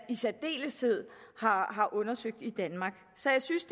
i særdeleshed har har undersøgt i danmark så jeg synes